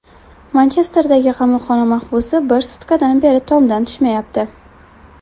Manchesterdagi qamoqxona mahbusi bir sutkadan beri tomdan tushmayapti.